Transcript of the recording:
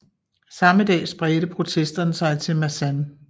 Samme dag spredte protesterne sig til Masan